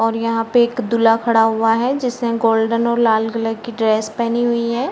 और यहाँ पे एक दूल्हा खड़ा हुआ है। जिसने गोल्डन और लाल कलर की ड्रेस पहनी हुई है।